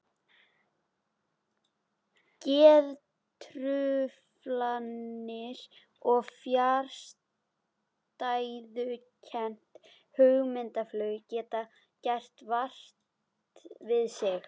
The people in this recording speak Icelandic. Geðtruflanir og fjarstæðukennt hugmyndaflug geta gert vart við sig.